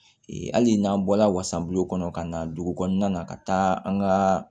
hali n'an bɔla wasabulon kɔnɔ ka na dugu kɔnɔna na ka taa an ka